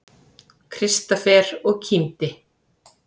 Kristófer og kímdi.